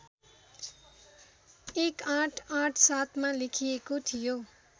१८८७ मा लेखिएको थियो